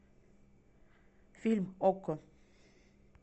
фильм окко